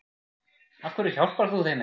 Af hverju hjálpar þú þeim ekki?